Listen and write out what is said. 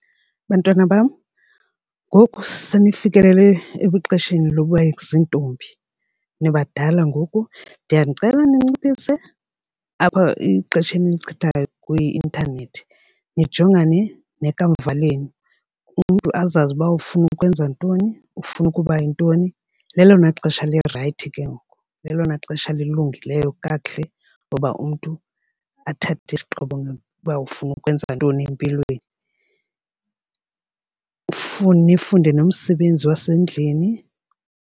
Bantwana bam, ngoku senifikile ebuxesheni lokuba ziintombi. Nibadala ngoku ndiyanicela ninciphise apha exesheni enilichithayo kwi-intanethi nijongane nekamva lenu umntu azazi uba ufuna ukwenza ntoni ufuna ukuba yintoni. Lelona xesha lirayithi ke ngoku lelona xesha lilungileyo kakuhle loba umntu athathe isigqibo uba ufuna ukwenza ntoni empilweni. nifunde nomsebenzi wasendlini.